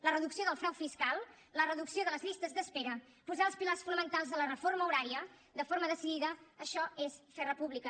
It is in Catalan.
la reducció del frau fiscal la reducció de les llistes d’espera posar els pilars fonamentals de la reforma horària de forma decidida això és fer república